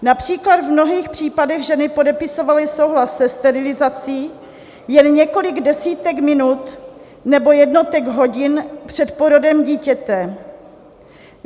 Například v mnohých případech ženy podepisovaly souhlas se sterilizací jen několik desítek minut nebo jednotek hodin před porodem dítěte.